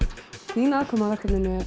þín aðkoma að verkefninu